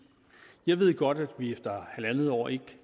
jeg ved godt at vi efter halvandet år ikke